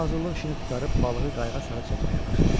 Qoca hazırlıq işini qurtarıb balığı qayığa sarı çəkməyə başladı.